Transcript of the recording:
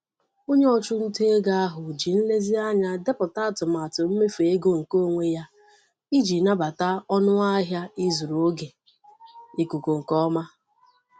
Onye ọchụnta ego ahụ ji nlezianya depụta atụmatụ mmefu ego nke onwe ya iji nabata ọnụ ahịa ịzụrụ oge ikuku nke ọma.